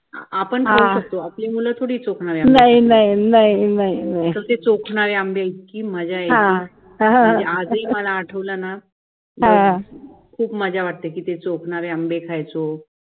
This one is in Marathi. अपान बोलू शकतो, आपली मुलं थोडी चोकणारेत तर ते चोकणरे आंबे इतकी मज्जा येयची म्हणजे आजही मला आठवला ना खूप मज्जा वाटते कि ते चोकणारे आंबे खायचो